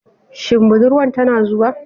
Shin budurwan tana zuwa?